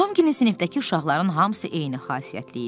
Tom sinifdəki uşaqların hamısı eyni xasiyyətli idi.